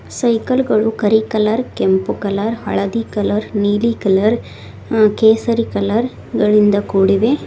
Cycle ಗಳು ಕರಿ colour ಕೆಂಪು ಕಲರ್ ಹಳದಿ ಕಲರ್ ನೀಲಿ ಕಲರ್ ಆ ಕೇಸರಿ ಕಲರ್ ಗಳಿಂದ ಕೂಡಿವೆ.